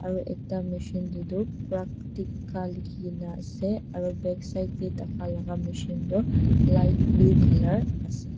aro ekta machine teh toh praktika likhikena ase aro backside teh takalaga machine teh toh light blue colour ase.